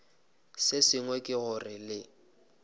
se sengwe ke gore le